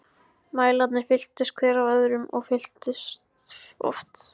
Mælarnir fylltust, hver af öðrum- og fylltust oft.